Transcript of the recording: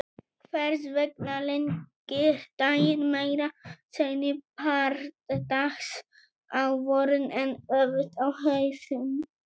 Hvers vegna lengir daginn meira seinni part dags á vorin en öfugt á haustin?